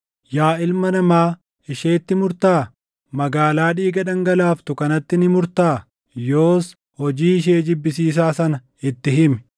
“Yaa ilma namaa, isheetti murtaa? Magaalaa dhiiga dhangalaaftu kanatti ni murtaa? Yoos hojii ishee jibbisiisaa sana itti himi;